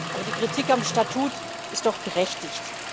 Aber die Kritik am Statut ist doch berechtigt.